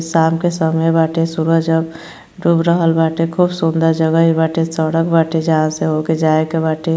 शाम का समय बाटे। सूरज अब डूब रहल बाटे। खूब सुंदर जगही बाटे सड़क बाटे जहां से होके जाएके बाटे।